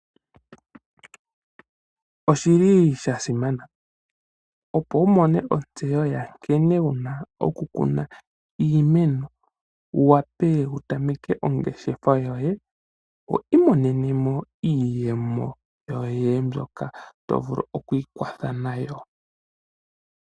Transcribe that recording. Oshili sha simana opo wu mone ontseyo yankene wu na okukuna iimeno, wu wape wu tameke ongeshefa yoye wu imonene mo iiyemo yoye mbyoka to vulu okwiikwatha nayo.